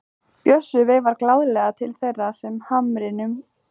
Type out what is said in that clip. Bjössi veifar glaðlega til þeirra með hamrinum.